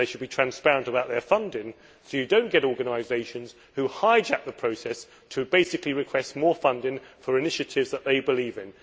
They should be transparent about their funding, so that you do not get organisations who hijack the process to basically request more funding for initiatives they believe in.